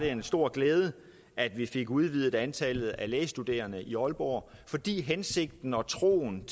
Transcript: en stor glæde at vi fik udvidet antallet af lægestuderende i aalborg fordi hensigten og troen